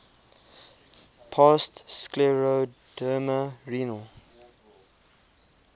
past scleroderma renal